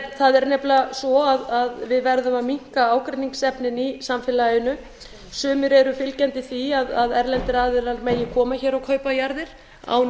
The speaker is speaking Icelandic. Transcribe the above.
það er nefnilega svo að við verðum að minnka ágreiningsefnin í samfélaginu sumir eru fylgjandi því að erlendir aðilar megi koma hér og kaupa jarðir án